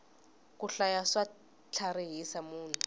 ku hlaya swa tlharihisa munhu